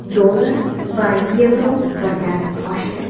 Dollar va yevro birdan oshdi.